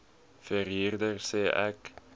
verhuurder sê ek